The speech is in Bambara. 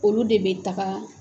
Olu de bɛ taga